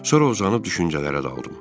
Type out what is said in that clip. Sonra uzanıb düşüncələrə daldım.